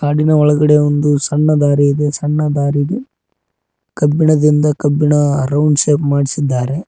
ಕಾಡಿನ ಒಳಗಡೆ ಒಂದು ಸಣ್ಣ ದಾರಿ ಇದೆ ಸಣ್ಣ ದಾರೀಲಿ ಕಬ್ಬಿಣದಿಂದ ಕಬ್ಬಿಣ ರೌಂಡ್ ಶೇಪ್ ಮಾಡಸಿದ್ದಾರೆ.